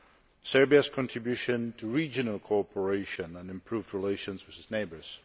to Serbia's contribution to regional cooperation and improved relations with its neighbours